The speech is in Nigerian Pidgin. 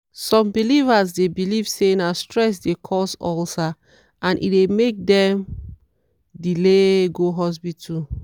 some believers dey believe say na stress dey cause ulcer and e dey make dem delay go hospital.